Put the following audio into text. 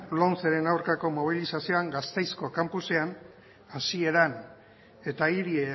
lomceren aurkako mobilizazioan gasteizeko kanpusean hasieran eta hiri